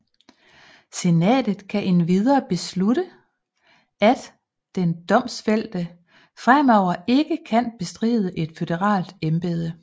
Senatet kan endvidere beslutte at den domfældte fremover ikke kan bestride et føderalt embede